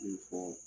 Min fɔ